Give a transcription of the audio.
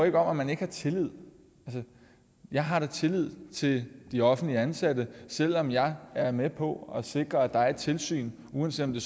ikke om at man ikke har tillid jeg har da tillid til de offentligt ansatte selv om jeg er med på at sikre at der er tilsyn uanset om det